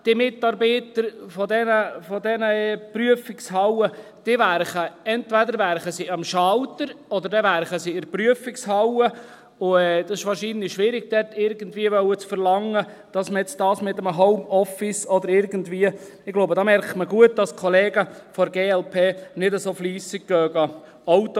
Die Mitarbeiter dieser Prüfungshallen arbeiten entweder am Schalter oder in der Prüfungshalle, und es ist wahrscheinlich schwierig, von ihnen zu verlangen, dass man dies irgendwie mit einem Homeoffice … Ich glaube, da merkt man gut, dass die Kollegen von der glp ihr Auto nicht so häufig prüfen lassen.